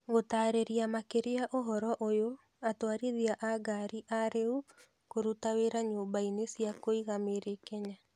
Gũtarĩria makĩria ũhoro ũyũ, atwarithia a ngari arĩu kũruta wĩra nyũmba-inĩ cia kũiga mĩrĩ Kenya.